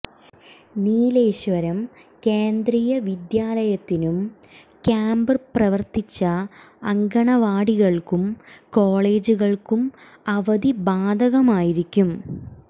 നീലേശ്വരം കേന്ദ്രീയ വിദ്യാലയത്തിനും ക്യാമ്പ് പ്രവർത്തിച്ച അങ്കണവാടികൾക്കും കോളേജുകൾക്കും അവധി ബാധകമായിരിക്കും